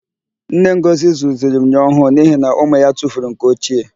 Nne Ngọzị zụziri myọ ọhụụ n'ihi na ụmụ ya tufuru nke ochie.